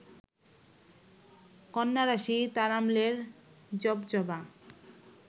কন্যারাশি তারাম-লের জপজবা